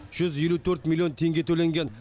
жүз елу төрт миллион теңге төленген